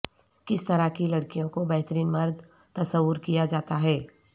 کس طرح کی لڑکیوں کو بہترین مرد تصور کیا جاتا ہے